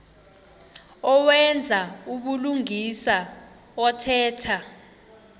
owenza ubulungisa othetha